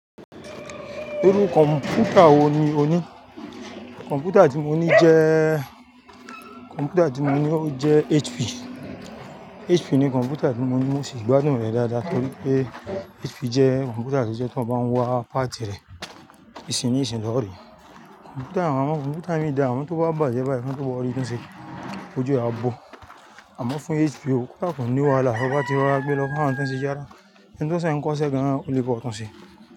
Irú kọ̀m̀pútà wo ni o ní? Kọ̀m̀pútà tí mo ní jẹ́, kọ̀m̀pútà tí mo ní ó jẹ́ HP. HP ni kọ̀m̀pútà tí mo ní, mo sì gbádùn rẹ̀ dáadáa torí pé HP jẹ́ kọ̀m̀pútà tó jẹ́ tí eeyan bá ń wa páàtì rẹ̀ ìsìn ní ìsìn lo rí. Kọ̀m̀pútà, àwọn kọ̀m̀pútà miran dà, àmọ́ tó bá bàjẹ́ báyìí, kí wọ́n tó bá ọ rí tunṣe, ojú ẹ a bó. Àmọ́ fún HP o, kódà kò ní wahala, bo bá ti rọra gbé lọ fún àwọn tó ń ṣe, ẹni tó sẹ̀ ń kọ iṣẹ́ gan-an, o lè bá ọ tunse.